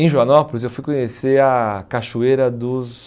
Em Joanópolis eu fui conhecer a Cachoeira dos...